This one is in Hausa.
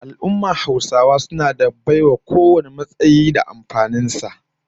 Al'ummar Hausawa suna da tsarin baiwa kowa matsayin sa da amfanin sa da mukamin sa